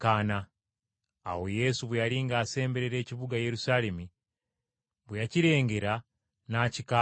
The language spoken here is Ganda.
Awo Yesu bwe yali ng’asemberera ekibuga Yerusaalemi, bwe yakirengera, n’akikaabira.